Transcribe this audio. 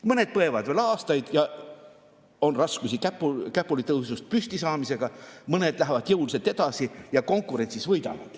Mõned põevad veel aastaid, on raskusi käpuli püstisaamisega, mõned lähevad jõuliselt edasi ja võidavad konkurentsis.